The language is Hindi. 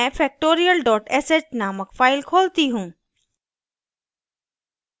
मैं factorial sh named file खोलती हूँ